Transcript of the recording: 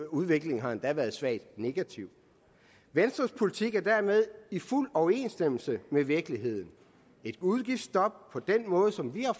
udviklingen har endda været svagt negativ venstres politik er dermed i fuld overensstemmelse med virkeligheden et udgiftsstop på den måde som vi har